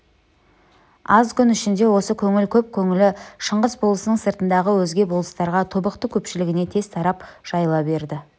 аз күн ішінде осы көңіл көп көңілі шыңғыс болысының сыртындағы өзге болыстарға тобықты көпшілігіне тез тарап жайыла берді